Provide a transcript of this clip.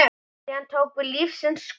Síðan tók við lífsins skóli.